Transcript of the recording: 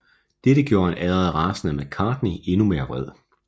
Dette gjorde en allerede rasende McCartney endnu mere vred